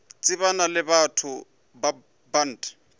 tsebana le batho ba bant